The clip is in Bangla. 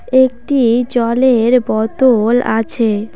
একটি জলের বোতল আছে।